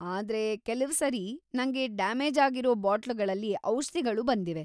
ಆದ್ರೆ ಕೆಲವ್ಸರಿ ನಂಗೆ ಡ್ಯಾಮೇಜ್‌ ಆಗಿರೋ ಬಾಟ್ಲುಗಳಲ್ಲಿ ಔಷ್ಧಿಗಳು ಬಂದಿವೆ.